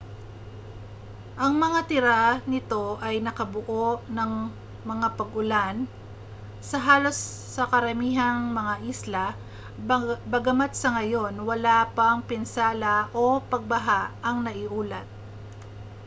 ang mga tira nito ay nakabuo ng mga pag-ulan sa halos sa karamihang mga isla bagamat sa ngayon wala pang pinsala o pagbaha ang naiulat